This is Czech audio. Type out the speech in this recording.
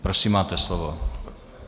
Prosím, máte slovo.